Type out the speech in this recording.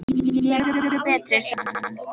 Ég er miklu betri, sagði hann.